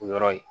O yɔrɔ ye